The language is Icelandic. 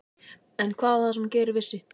En hvað var það sem Geir vissi?